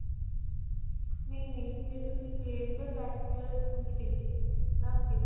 ਨਹੀਂ. ਨਹੀਂ. ਜੇ ਤੁਸੀਂ .